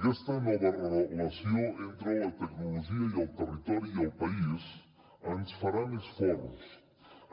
aquesta nova relació entre la tecnologia i el territori i el país ens farà més forts